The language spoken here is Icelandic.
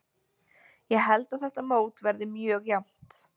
Ég held að þetta mót verði mjög jafnt.